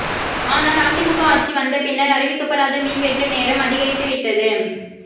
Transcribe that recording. ஆனால் அதிமுக ஆட்சி வந்த பின்னர் அறிவிக்கப்படாத மின்வெட்டு நேரம் அதிகரித்து விட்டது